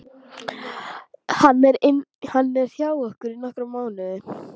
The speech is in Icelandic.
Hann er hjá okkur í nokkra mánuði.